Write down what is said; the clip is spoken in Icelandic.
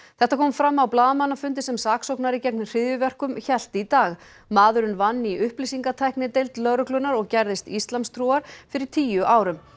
þetta kom fram á blaðamannafundi sem saksóknari gegn hryðjuverkum hélt í dag maðurinn vann í upplýsingatæknideild lögreglunnar og gerðist íslamstrúar fyrir tíu árum